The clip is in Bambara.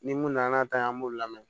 Ni mun nana n'a ta ye an b'o lamɛn